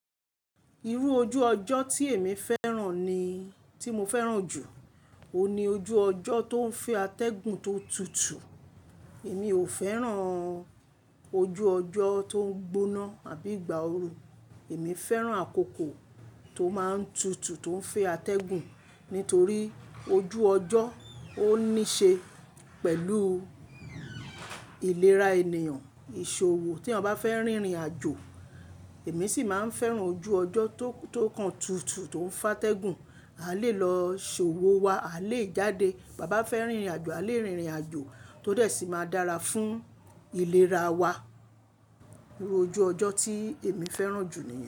Irú ojú ọjọ́ tí èmi fẹ́ràn ni, tí mo fẹ́ràn jù, òun ni ojú ọjọ́ tó ń fẹ́ atẹ́gùn tó tutù. Èmi ò fẹ́ràn ojú ọjọ́ tó ń gbóná àbí ìgbà ooru. Èmi fẹ́ràn àkókò tó máa ń tutù tó ń fẹ́ atẹ́gùn. Nítorí ojú ọjọ́ ó ní ṣe pẹ̀lú ìlera ènìyàn, ìṣòwò. Teeyan bá fẹ́ rìnrìnàjò, èmi sì máa ń fẹ́ràn ojú ọjọ́ tó, tó kan tutù tó ń fatẹ́gùn. A lè lọ ṣòwò wa, a lè jáde. Bàa bá fẹ́ rìnrìn àjò, a lè rìnrìn àjò tó dé sí máa dára fún ìlera wa. Irú ojú ọjọ́ tí èmi fẹ́ràn jù nìyẹn.